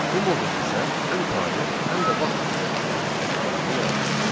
Bu modul bizə həm tarix, həm də vaxt ilə işləmək imkanını yaradır.